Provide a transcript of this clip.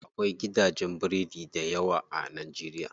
Akwai gidajen biredi dayawa a najeriya.